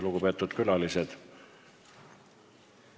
Lugupeetud külalised!